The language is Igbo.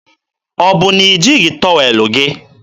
Ọ bụ na i jighị tọwel gị?